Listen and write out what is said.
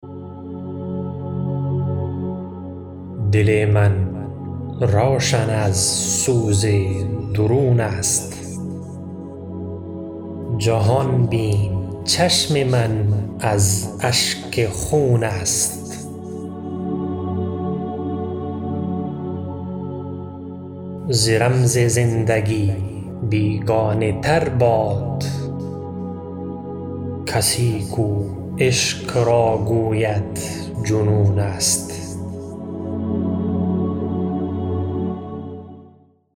دل من روشن از سوز درون است جهان بین چشم من از اشک خون است ز رمز زندگی بیگانه تر باد کسی کو عشق را گوید جنون است